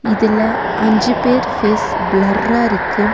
இதுல அஞ்சு பேர் ஃபேஸ் பிலர்ரா இருக்கு.